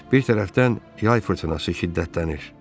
Bir tərəfdən yay fırtınası şiddətlənir.